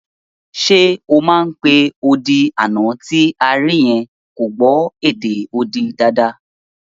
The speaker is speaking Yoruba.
Ṣe o mọ̀ pé odi àná tí a rí yẹn kò gbọ́ èdè odi dáadáa?